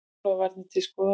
Snjóflóðavarnir til skoðunar